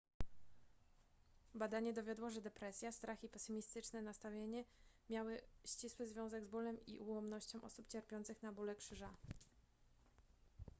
badanie dowiodło że depresja strach i pesymistyczne nastawienie miały ścisły związek z bólem i ułomnością osób cierpiących na bóle krzyża